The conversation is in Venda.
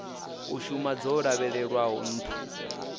u shuma dzo lavhelelwaho nṱha